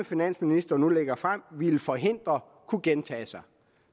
finansministeren nu lægger frem vil forhindre kunne gentage sig